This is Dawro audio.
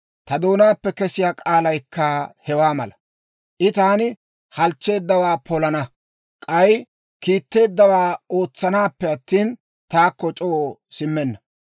ta doonaappe kesiyaa k'aalaykka hewaa mala. I taani halchcheeddawaa polana; k'ay kiitteeddawaa ootsanaappe attina, taakko c'oo simmenna.